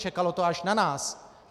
Čekalo to až na nás.